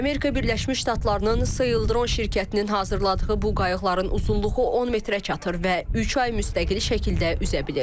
Amerika Birləşmiş Ştatlarının Saildrone şirkətinin hazırladığı bu qayıqların uzunluğu 10 metrə çatır və üç ay müstəqil şəkildə üzə bilir.